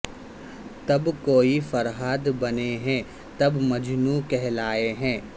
تب کوئ فرہاد بنے ہے تب مجنوں کہلائے ہے